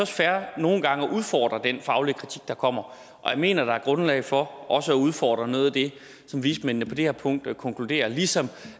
fair nogle gange at udfordre den faglige kritik der kommer jeg mener at der er grundlag for også at udfordre noget af det som vismændene på det her punkt konkluderer ligesom